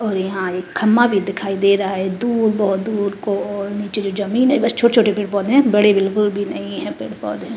और यहाँ एक खंबा भी दिखाई दे रहा है दूर बहुत दूर को और नीचे जो जमीन है। बस छोटे-छोटे पेड़-पोधे हैं बड़े बिलकुल भी नही है पेड़ पौधें --